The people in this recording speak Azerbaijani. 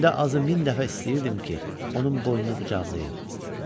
Gündə azı min dəfə istəyirdim ki, onun boynunu qucaqlayım.